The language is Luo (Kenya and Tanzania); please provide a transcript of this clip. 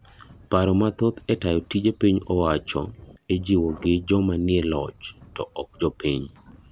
Paro mathoth e tayo tije piny owacho ichiwo gi jma nie loch to ok jopiny.